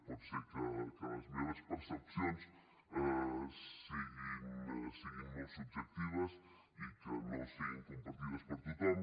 pot ser que les meves percepcions siguin molt subjectives i que no siguin compartides per tothom